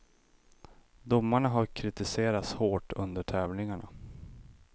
Domarna har kritiserats hårt under tävlingarna.